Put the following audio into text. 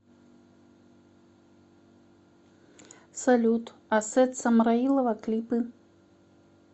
салют асет самраилова клипы